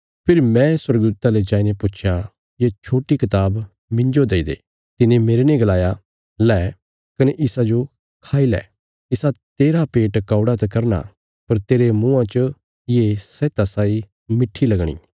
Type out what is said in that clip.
फेरी मैं स्वर्गदूता ले जाईने पुच्छया ये छोट्टी कताब मिन्जो दई दे तिने मेरने गलाया लै कने इसाजो खाई लै इसा तेरा पेट कौड़ा त करना पर तेरे मुँआं च ये शैहता साई मिठी लगणी